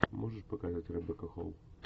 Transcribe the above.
можешь показать ребекка холл